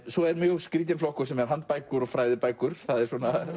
svo er skrýtinn flokkur handbækur og fræðibækur það er